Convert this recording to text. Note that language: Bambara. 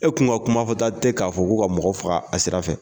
E kuma kuma fɔ ta tɛ k'a fɔ k'u ka mɔgɔ faga a sira fɛ.